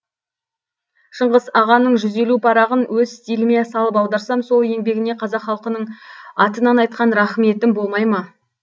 шыңғыс ағаның жүз елу парағын өз стиліме салып аударсам сол еңбегіне қазақ халқының атынан айтқан рахметім болмай ма